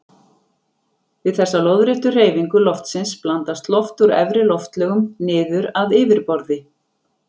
Við þessa lóðréttu hreyfingu loftsins blandast loft úr efri loftlögum niður að yfirborði.